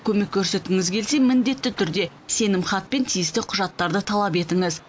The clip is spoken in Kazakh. көмек көрсеткіңіз келсе міндетті түрде сенімхат пен тиісті құжаттарды талап етіңіз